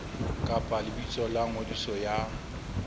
kapa lebitso la ngodiso ya